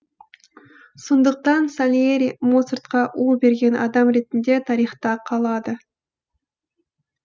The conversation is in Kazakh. сондықтан сальери моцартқа у берген адам ретінде тарихта қалады